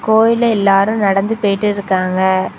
கோயில்ல எல்லாரும் நடந்து போயிட்டு இருக்காங்க.